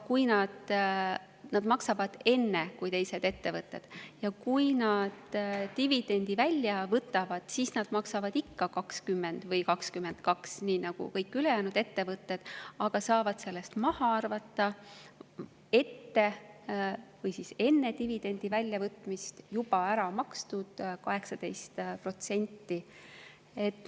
Nad maksavad enne kui teised ettevõtted ja kui nad dividendi välja võtavad, siis nad maksavad ikka 20% või 22%, nii nagu kõik ülejäänud ettevõtted, aga saavad sellest enne dividendi väljavõtmist maha arvata juba äramakstud 18%.